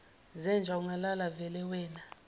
zenja ungalala velewena